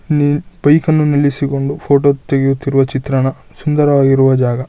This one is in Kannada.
ಇಲ್ಲಿ ಬೈಕ್ನ ನಿಲ್ಲಿಸಿಕೊಂಡು ಫೋಟೋ ತೆಗಿಯುತ್ತಿರುವ ಚಿತ್ರಣ ಸುಂದರವಾಗಿರುವ ಜಾಗ.